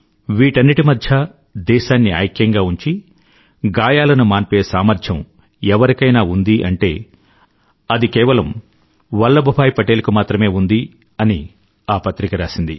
వీటన్నింటి మధ్యా దేశాన్ని ఐక్యంగా ఉంచి గాయాలను మాన్పే సామర్థ్యం ఎవరికైనా ఉందీ అంటే అది కేవలం వల్లభ్ భాయ్ పటేల్ కు మాత్రమే ఉంది అని ఆ పత్రిక రాసింది